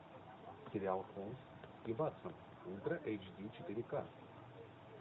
сериал холмс и ватсон ультра эйч ди четыре к